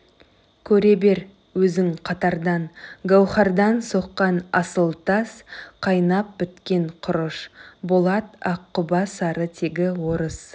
көре бер өзің қатардан гауһардан соққан асыл тас қайнап біткен құрыш болат аққұба сары тегі орыс